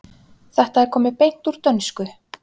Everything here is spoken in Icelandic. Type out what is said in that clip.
Þetta er komið beint úr dönsku.